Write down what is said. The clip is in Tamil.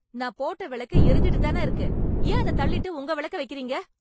நான் போட்ட வெளக்கு எரிஞ்சுட்டுத் தான இருக்கு, ஏன் அத தள்ளிட்டு உங்க வெளக்க வைக்கிறீங்க.